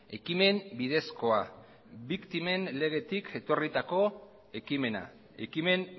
ekimen bidezkoa biktimen legetik etorritako ekimena ekimen